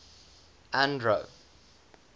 andro